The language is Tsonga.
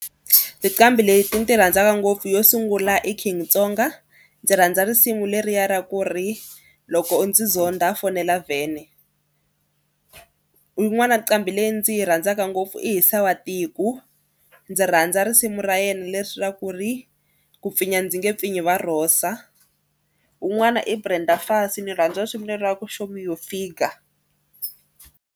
Tinqambi leti ni ti rhandzaka ngopfu yo sungula i King tsonga ndzi rhandza risimu leriya ra ku ri loko u ndzi zonda fonela vhene. Yin'wani nqambi leyi ndzi yi rhandzaka ngopfu i Hisa wa tiko ndzi rhandza risimu ra yena leswaku ri ku pfinya ndzi nge pfinyi va rhosa. Wun'wani i Brenda Fassie ni rhandza risimu lera ra ku show me your figure.